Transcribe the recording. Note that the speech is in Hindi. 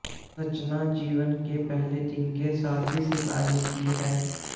रचना जीवन के पहले दिन के साथ की सिफारिश की है